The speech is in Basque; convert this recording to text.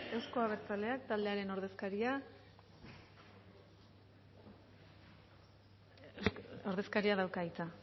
euzko abertzaleak taldearen ordezkaria ordezkariak dauka hitza